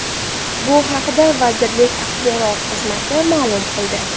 Bu haqda vazirlik axborot xizmati ma’lum qildi .